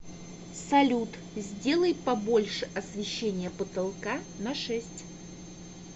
салют сделай побольше освещение потолка на шесть